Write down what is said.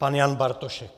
Pan Jan Bartošek.